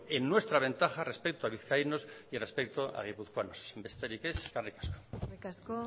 en nuestra ventaja respecto a vizcaínos y respecto a guipuzcoanos besterik ez eskerrik asko eskerrik asko